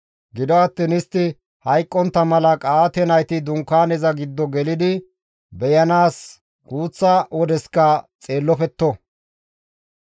Gido attiin istti hayqqontta mala Qa7aate nayti Dunkaaneza giddo gelidi beyanaas guuththa wodeska xeellopetto.»